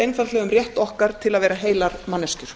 einfaldlega um rétt okkar til að vera heilar manneskjur